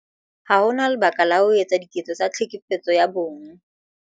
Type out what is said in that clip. Ha ho na lebaka la ho etsa diketso tsa Tlhekefetso ya Bong